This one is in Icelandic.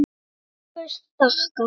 SOPHUS: Þakka.